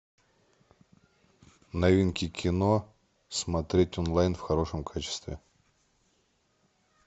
новинки кино смотреть онлайн в хорошем качестве